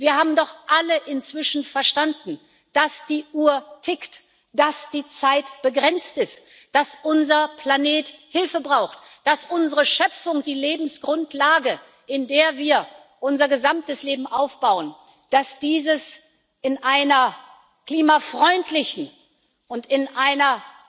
Wir haben doch alle inzwischen verstanden, dass die Uhr tickt, dass die Zeit begrenzt ist, dass unser Planet Hilfe braucht, dass unsere Schöpfung die Lebensgrundlage ist, in der wir unser gesamtes Leben aufbauen, dass dieses in einer klimafreundlichen und in einer